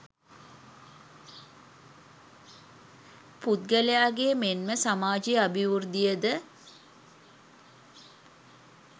පුද්ගලයාගේ මෙන්ම සමාජයේ අභිවෘද්ධිය ද